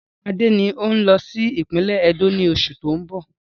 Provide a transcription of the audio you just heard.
Rárá, Adé ni o n lọ sí ìpínlẹ́ Ẹdó ni oṣù tóun bọ̀.